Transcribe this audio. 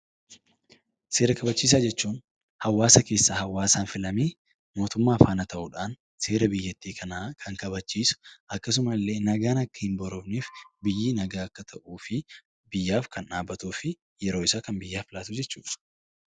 Seera kabachiisaa jechuun hawaasa keessaa hawaasaan filamee mootummaa faana tahuudhaan seera biyyatti kanaa Kan kabachiisu, akkasuma illee nagaan akka hin boorofneef, biyyi nagaa akka tahuu fi biyyaaf Kan dhaabatuu fi yeroo isaa biyyaaf Kan laatuu jechuudha.